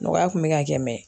Nɔgɔya kun bɛ ka kɛ .